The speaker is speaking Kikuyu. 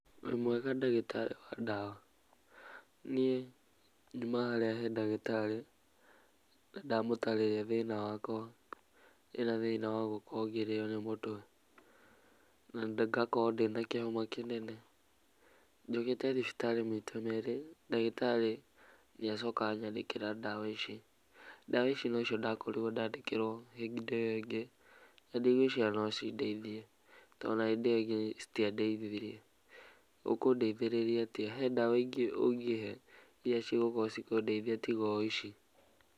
Ũrĩ mwega ndagĩtarĩ wa ndawa? Niĩ nyuma haria harĩ ndagĩtarĩ na ndamũtarĩrĩa thĩna wakwa, ndĩna thĩna wagũkorwo ngĩrĩo nĩ mũtwe, na ngakorwo ndĩna kĩhoma kĩnene, njũkĩte thibitarĩ maita merĩ na ndagĩtarĩ nĩacoka anyandĩkĩra ndawa ici, ndawa ici nocio ndakorirwo ndandĩkĩrwo hĩndĩ ĩyo ĩngĩ na ndĩgweciria no cindeithie, tondũ nginya hĩndĩ ĩyo ĩngĩ citiandeithirie, ũkũndeithĩrĩria atĩa? he ndawa ngĩ ũngĩhe irĩa cigũkorwo cikũndeithia tiga o ici.